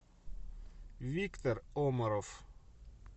виктор омаров